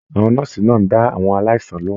Àwọn nọ́ọ́sí náà n dá àwọn aláìsàn lohùn.